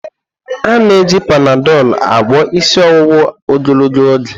Ana eji Panadolu agwọ isi ọwụwa ogologo oge.